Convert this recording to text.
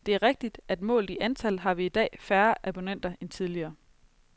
Det er rigtigt, at målt i antal har vi i dag færre abonnenter end tidligere.